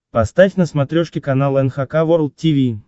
поставь на смотрешке канал эн эйч кей волд ти ви